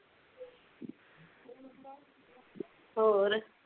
ਹੋਰ